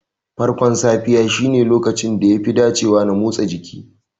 Farkon safiya shine lokacin da yafi dacewa na motsa jiki.